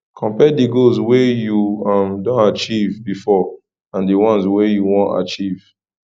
compare di goals wey you um don achieve before and di once wey you wan achieve